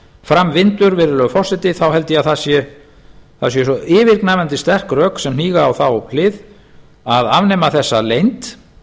fram vindur virðulegi forseti þá held ég að það séu yfirgnæfandi sterk rök sem hníga á þá hlið að afnema þessa leynd